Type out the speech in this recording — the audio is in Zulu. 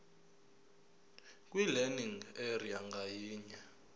kwilearning area ngayinye